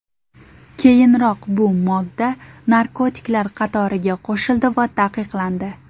Keyinroq bu modda narkotiklar qatoriga qo‘shildi va taqiqlandi.